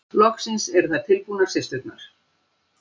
Loks eru þær tilbúnar systurnar.